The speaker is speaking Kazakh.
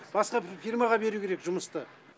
басқа фирмаға беру керек жұмысты